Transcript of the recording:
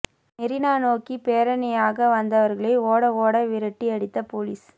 மெரீனா நோக்கி பேரணியாக வந்தவர்களை ஓட ஓட விரட்டி அடித்த போலீஸ்